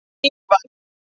Ívar